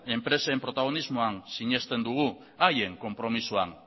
enpresen protagonismoan sinesten dugu haien konpromisoan